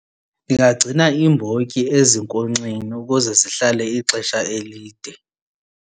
Ndingagcina iimbotyi ezinkonkxeni ukuze zihlale ixesha elide.